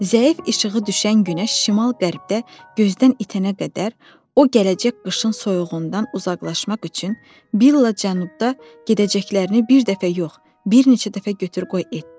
Zəif işığı düşən günəş şimal-qərbdə gözdən itənə qədər, o gələcək qışın soyuğundan uzaqlaşmaq üçün billa cənubda gedəcəklərini bir dəfə yox, bir neçə dəfə götür-qoy etdi.